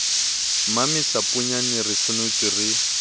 mmamesa poeyana re senotswe re